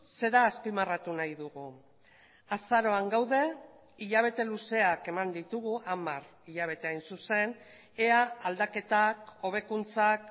zera azpimarratu nahi dugu azaroan gaude hilabete luzeak eman ditugu hamar hilabete hain zuzen ea aldaketak hobekuntzak